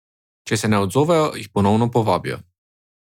Če se ne odzovejo, jih ponovno povabijo.